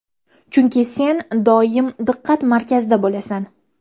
Chunki sen doim diqqat-markazda bo‘lasan.